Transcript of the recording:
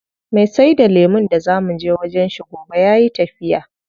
Me saida lemun da zaa muje wajen shi gobe yayi tafiya.